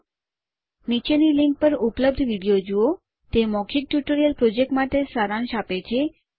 નીચેની લીંક પર ઉપલબ્ધ વિડીયો જુઓ httpspoken tutorialorgWhat is a Spoken Tutorial તે મૌખિક ટ્યુટોરીયલ પ્રોજેક્ટ માટે સારાંશ આપે છે